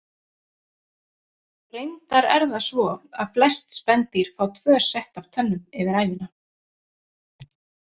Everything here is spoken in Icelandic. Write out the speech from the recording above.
Reyndar er það svo að flest spendýr fá tvö sett af tönnum yfir ævina.